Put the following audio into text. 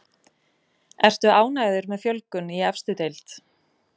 Ertu ánægður með fjölgun í efstu deild?